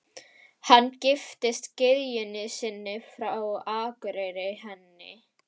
Hann giftist gyðjunni sinni frá Akureyri, henni